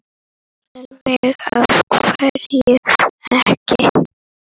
Sólveig: Af hverju ekki?